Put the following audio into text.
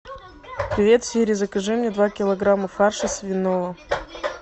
привет сири закажи мне два килограмма фарша свиного